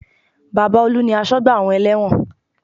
Baba Olu ni asọ́gbà àwọn ẹlẹ́wọ̀n